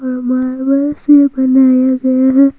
हमारा बर्थडे बनाया गया है।